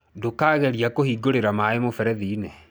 Ndũkageria kũhingũrĩra maĩ mũberethi-inĩ.